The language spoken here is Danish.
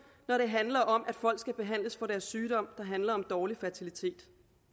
når det handler om at folk skal behandles for deres sygdom der handler om dårlig fertilitet